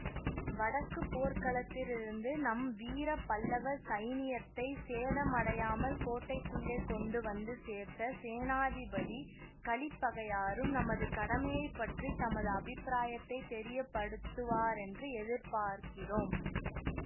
வடக்கு போர்க்களத்திலிருந்து நம் வீர பல்லவ சைனியத்தைச் சேதமடையாமல் கோட்டைக்குள்ளே கொண்டு வந்து சேர்த்த சேனாதிபதி கலிப்பகையாரும் நமது கடமையைப் பற்றி தமது அபிப்பிராயத்தைத் தெரியப்படுத்துவாரென்று எதிர்பார்க்கிறோம்